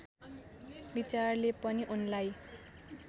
विचारले पनि उनलाई